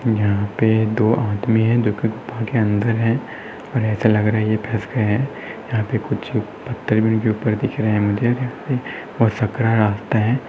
यहाँ पे दो आदमी है जो की गुफ़ा के अंदर है और ऐसा लग रहा है ये फस गए है यहाँ पे कुछ पत्थर भी इनके ऊपर दिख रहे है मुझे और सकरा रास्ता है।